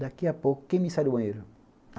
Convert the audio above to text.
Daqui a pouco, quem me sai do banheiro?